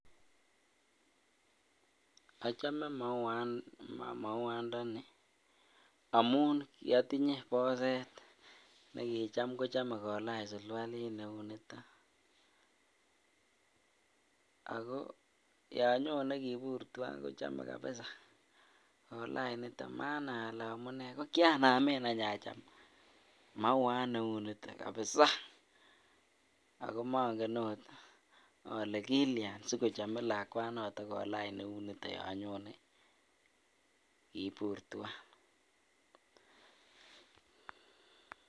Ochome mauandani amun kiotinye boset nekocham kochome kolach sulualit neuniton ak ko yoon nyone kobur twaan kochome kabisaa kolach niton manai alee amune, ko kianamen any acham mauat neuniton kabisaa ak ko mong'en oot olee Kilian sikochome lakwanoton kolach neuniton yoon nyonee kibur twaan.